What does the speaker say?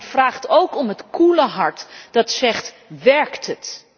Maar ze vragen ook om het koele hart dat zegt Werkt het?